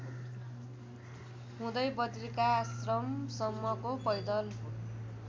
हुँदै बद्रिकाश्रमसम्मको पैदल